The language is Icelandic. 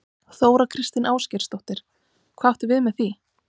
Þóra Kristín Ásgeirsdóttir: Hvað áttu við með því?